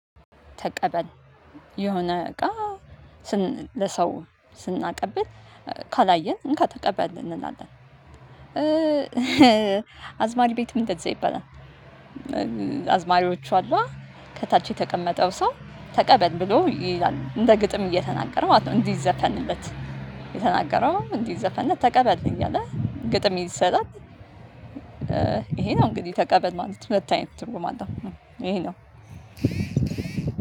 ተቀበል። የሆነ እቃ ለሰው ስናቀብል ካላየን እንካ ተቀበል እንላለን። አዝማሪ ቤትም እንደዚያ ይባላል። አዝማሪዎቹ አሉ አይይደል። ከታች የተቀመጠው ሰው ተቀበል ብሎ ይላል። እንደ ግጥም እየተናገረ ማለት ነው። እንዲዘፈንለት የተናገረው እንዲዘፈንለት ተቀበል እያለ ግጥም ይሰጣል። ይሄ ነው እንግዲህ ተቀበል ማለት። ሁለት አይነት ትርጉም አለው። ይሄ ነው